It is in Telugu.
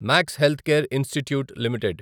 max Healthcare Institute limited